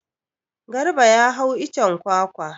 Garba ya hau icen kwakwa.